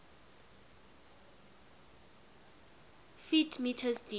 ft m deep